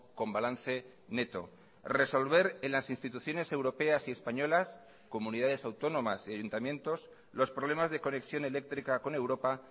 con balance neto resolver en las instituciones europeas y españolas comunidades autónomas y ayuntamientos los problemas de conexión eléctrica con europa